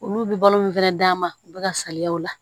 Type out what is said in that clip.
Olu bɛ balo nin fɛnɛ d'an ma u be ka saliya o la